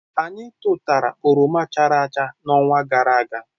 Anyị tụtụtara oroma chara acha n'ọnwa gara aga.